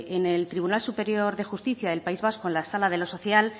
en el tribunal superior de justicia del país vasco en la sala de lo social